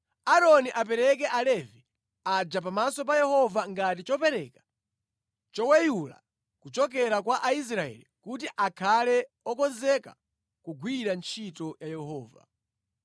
Aaroni apereke Alevi aja pamaso pa Yehova ngati chopereka choweyula kuchokera kwa Aisraeli kuti akhale okonzeka kugwira ntchito ya Yehova.